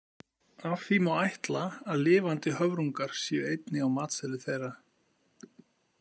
Af því má ætla að lifandi höfrungar séu einnig á matseðli þeirra.